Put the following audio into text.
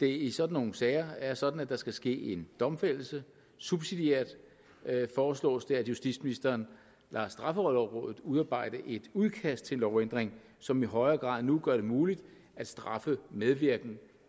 det i sådan nogle sager er sådan at der skal ske en domfældelse subsidiært foreslås det at justitsministeren lader straffelovrådet udarbejde et udkast til en lovændring som i højere grad end nu gør det muligt at straffe medvirken